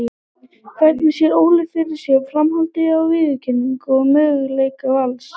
Hvernig sér Óli fyrir sér framhaldið á viðureigninni og möguleika Vals?